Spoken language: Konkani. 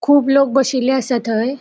खूब लोक बशिल्ले असा थय.